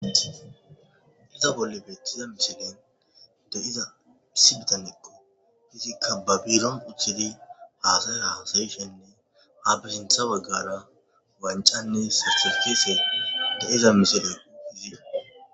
Iza bolle beeththiza misilen deiza isi bitanikqo hizikka babiron uchchidi haasay hasayishenne ha bisintha baggara wancanne sasistise de7iza misile zida.